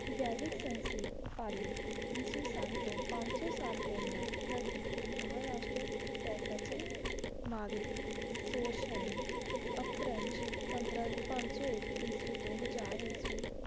ਸੰਸਕ੍ਰਿਤ ਪਾਲੀ ਏਸ ਸਨ ਤੋਂ ਪੰਜ ਸੂ ਸਾਲ ਪੇਹ੍ਲਾਂ ਪ੍ਰਕਿਤੀ ਅਪ੍ਰੰਜ ਪੰਜ ਸੂ ਏਇਕ ਈਸਵੀ ਤੋਂ ਹਜ਼ਾਰ ਈਸਵੀ